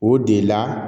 O de la